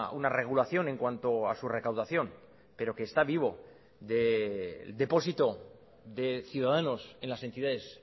una regulación en cuanto a su recaudación pero que está vivo de depósito de ciudadanos en las entidades